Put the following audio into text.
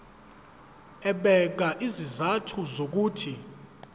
ebeka izizathu zokuthi